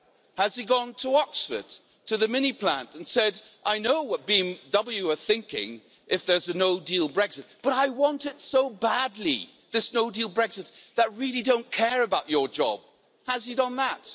Has he gone to Oxford to the Mini plant and said, I know what BMW are thinking if there's a no-deal Brexit, but I want it so badly, this no-deal Brexit, that I really don't care about your job'. Has he done that?